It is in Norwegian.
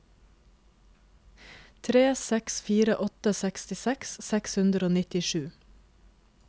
tre seks fire åtte sekstiseks seks hundre og nittisju